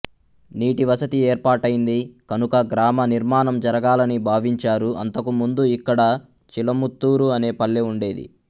నీటి వసతి ఏర్పాటైంది కనుక గ్రామ నిర్మాణం జరగాలని భావించారు అంతకు ముందు ఇక్కడ చిలుముత్తూరు అనే పల్లె ఉండేది